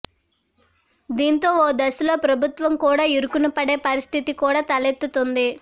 దీంతో ఓ దశలో ప్రభుత్వం కూడా ఇరుకున పడే పరిస్ధితి కూడా తలెత్తుతోంది